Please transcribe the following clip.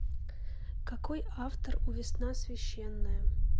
какой автор у весна священная